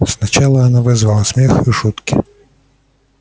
сначала она вызвала смех и шутки